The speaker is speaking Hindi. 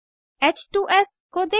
h2एस को देखें